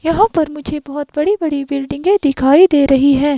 यहाँ पर मुझे बहुत बड़ी-बड़ी बिल्डिंगें दिखाई दे रही है।